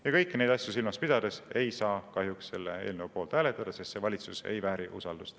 Ja kõiki neid asju silmas pidades ei saa kahjuks selle eelnõu poolt hääletada, sest see valitsus ei vääri usaldust.